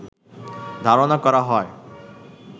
ধারণা করা হয়